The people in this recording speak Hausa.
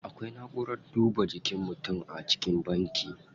Akwai na'urar duba jikin mutum a cikin banki.